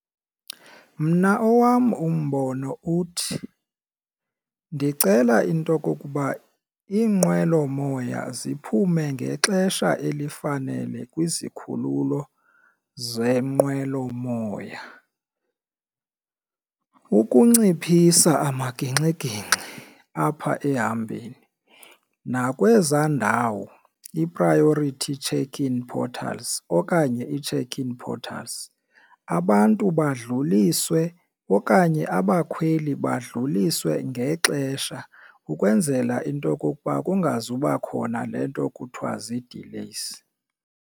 Mna owam umbono uthi, ndicela into okokuba iinqwelomoya ziphume ngexesha elifanele kwizikhululo zeenqwelomoya ukunciphisa amagingxigingxi apha ehambeni nakwezaa ndawo ii-priority check-in portals okanye ii-check-in portals abantu badluliswe okanye abakhweli badluliswe ngexesha ukwenzela into yokokuba kungazuba khona le nto kuthiwa zii-delays.